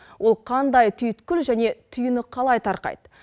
ол қандай түйткіл және түйіні қалай тарқайды